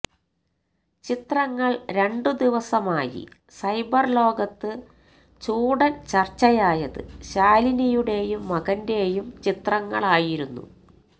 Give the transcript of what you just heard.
ചിത്രങ്ങൾ രണ്ടു ദിവസമായി സൈബർ ലോകത്ത് ചൂടന് ചര്ച്ചയായത് ശാലിനിയുടെയും മകന്റെയുംചിത്രങ്ങള് ആയിരുന്നു